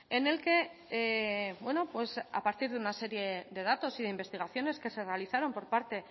en el que bueno a partir de una serie de datos y de investigaciones que se realizaron por parte